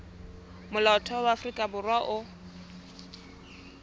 molaotheo wa afrika borwa o